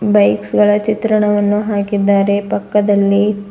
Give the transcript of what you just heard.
bikes ಗಳ ಚಿತ್ರಣವನ್ನು ಹಾಕಿದ್ದಾರೆ ಪಕ್ಕದಲ್ಲಿ--